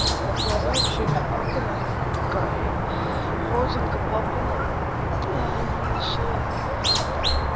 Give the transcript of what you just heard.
глаза вообще у меня папы карие родинка папина на шее